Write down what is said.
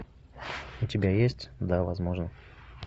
у тебя есть да возможно